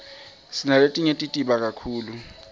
sinaletinye tibita kakhulu